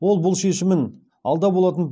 ол бұл шешімін алда болатын